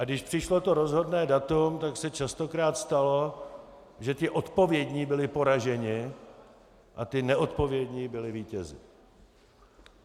A když přišlo to rozhodné datum, tak se častokrát stalo, že ti odpovědní byli poraženi a ti neodpovědní byli vítězi.